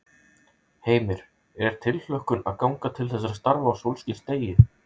Heimir: Er tilhlökkun að ganga til þessara starfa á þessum sólskinsdegi?